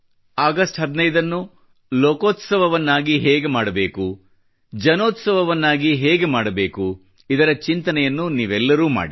August 15 ನ್ನು ಲೋಕೋತ್ಸವವನ್ನಾಗಿ ಹೇಗೆ ಮಾಡಬೇಕು ಜನೋತ್ಸವವನ್ನಾಗಿ ಹೇಗೆ ಮಾಡಬೇಕು ಇದರ ಚಿಂತನೆಯನ್ನು ನೀವೆಲ್ಲರೂ ಮಾಡಿ